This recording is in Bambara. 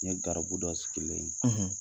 N ye garibu dɔ sigilen ye.